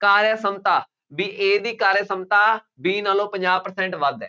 ਕਾਰਯ ਸਮਤਾ, ਬਈ A ਦੀ ਕਾਰਯ ਸਮਤਾ B ਨਾਲੋਂ ਪੰਜਾਹ percent ਵੱਧ ਹੈ,